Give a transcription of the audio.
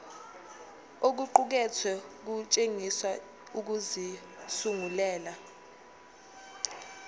okuqukethwe kutshengisa ukuzisungulela